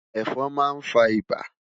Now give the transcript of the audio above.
Ẹfọn ma nfa ibà